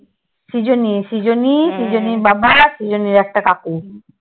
সৃজনী সৃজনী সৃজনীর বাবা আর সৃজনীর একটা কাকু।